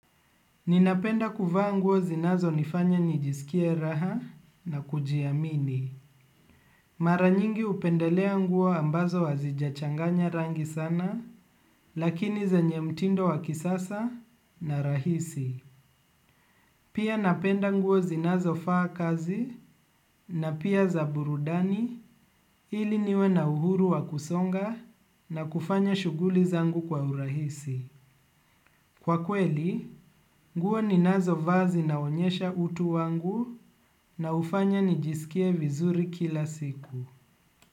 Ninapenda kuvaa nguo zinazo nifanya nijisikia raha na kujiamini. Maranyingi upendelea nguo ambazo hazijachanganya rangi sana, lakini zenye mtindo wakisasa na rahisi. Pia napenda nguo zinazo faa kazi na pia zaburudani ili niwe na uhuru wa kusonga na kufanya shuguli zangu kwa urahisi. Kwa kweli, nguo ninazo vaa ziznaonyesha utu wangu na hufanya nijisikie vizuri kila siku.